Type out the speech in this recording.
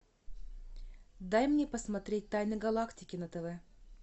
дай мне посмотреть тайны галактики на тв